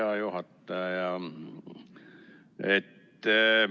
Hea juhataja!